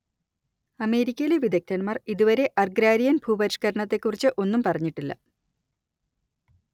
അമേരിക്കയിലെ വിദഗ്ദ്ധന്മാർ ഇതുവരെ അർഗ്രാരിയൻ ഭൂപരിഷ്കരണത്തെക്കുറിച്ച് ഒന്നും പറഞ്ഞിട്ടില്ല